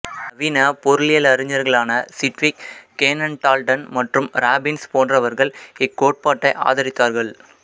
நவீன பொருளியலறிஞர்களான Sidgwick Cannan Dalton மற்றும் ராபின்ஸ் போன்றவர்கள் இக்கோட்பாட்டை ஆதரித்தார்கள்